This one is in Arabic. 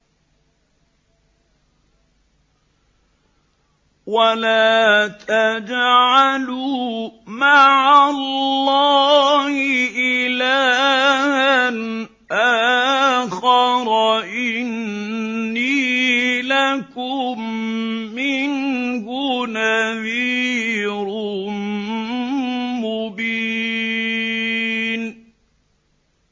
وَلَا تَجْعَلُوا مَعَ اللَّهِ إِلَٰهًا آخَرَ ۖ إِنِّي لَكُم مِّنْهُ نَذِيرٌ مُّبِينٌ